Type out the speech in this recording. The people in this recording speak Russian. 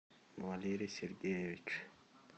валерий сергеевич